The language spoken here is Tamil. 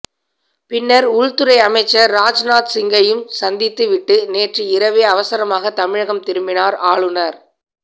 பின்னர் உள்துறை அமைச்சர் ராஜ் நாத் சிங்கையும் சந்தித்து விட்டு நேற்று இரவே அவசரமாக தமிழகம் திரும்பினார் ஆளுநர்